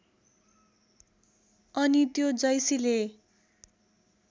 अनि त्यो जैसीले